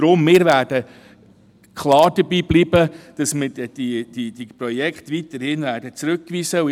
Darum werden wir klar dabeibleiben, dass wir diese Projekte weiterhin zurückweisen werden.